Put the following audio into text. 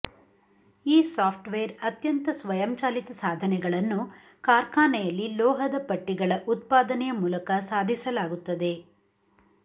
ಈ ಸಾಫ್ಟ್ವೇರ್ ಅತ್ಯಂತ ಸ್ವಯಂಚಾಲಿತ ಸಾಧನೆಗಳನ್ನು ಕಾರ್ಖಾನೆಯಲ್ಲಿ ಲೋಹದ ಪಟ್ಟಿಗಳ ಉತ್ಪಾದನೆಯ ಮೂಲಕ ಸಾಧಿಸಲಾಗುತ್ತದೆ